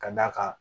Ka d'a kan